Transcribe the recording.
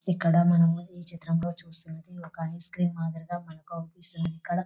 ఇక్కడ మనం ఈ చిత్రంలో చూస్తూ ఉన్నది ఒక ఐస్ క్రీం మాదిరిగా మనకే అనిపిస్తుంది. ఇక్కడ --